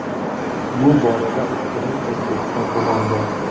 Bu borada ustunlik O‘zbekiston tomonida.